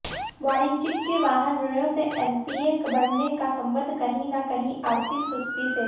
वाणिज्यिक वाहन ऋणों में एनपीए बढऩे का संबंध कहीं न कहीं आर्थिक सुस्ती से है